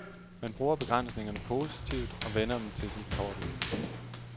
Man bruger begrænsningerne positivt og vender dem til sin fordel.